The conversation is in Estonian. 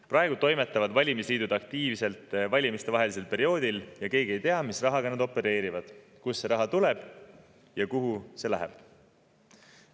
Praegu toimetavad valimisliidud aktiivselt valimistevahelisel perioodil ja keegi ei tea, mis rahaga nad opereerivad, kust see raha tuleb ja kuhu see läheb.